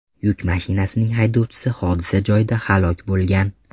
Yuk mashinasining haydovchisi hodisa joyida halok bo‘lgan.